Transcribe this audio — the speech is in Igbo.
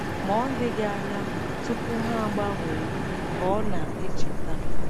Ma ọ dịghị anya tupu ha agbanwee, ka ọ na - echeta.